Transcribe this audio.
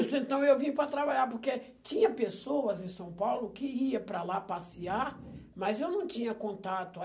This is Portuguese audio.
Isso, então eu vim para trabalhar, porque tinha pessoas em São Paulo que iam para lá passear, mas eu não tinha contato.